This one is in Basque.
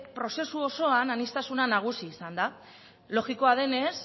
prozesu osoan aniztasuna nagusi izan da logikoa denez